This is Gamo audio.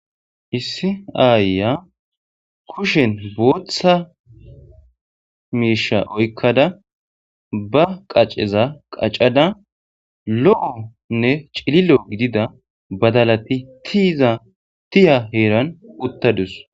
Issi aayiya kushen bootha miisha oykkada ba qaceza qacada lo7onne cililo gidida badalati ti7iza tiya heeran uttadus